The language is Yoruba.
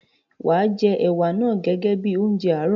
Wàá jẹ ẹ̀wà naa gẹ́gẹ́ bíi oúnjẹ àárọ̀.